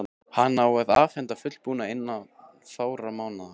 Hana á að afhenda fullbúna innan fárra mánaða.